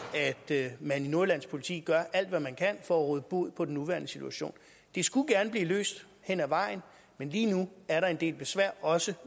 at man i nordjyllands politi gør alt hvad man kan for at råde bod på den nuværende situation det skulle gerne blive løst hen ad vejen men lige nu er der en del besvær også